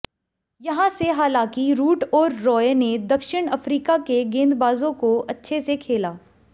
यहां से हालांकि रूट और रॉय ने दक्षिण अफ्रीका के गेंदबाजों को अच्छे से खेला